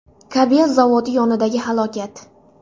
Kabel zavodi yonidagi halokat.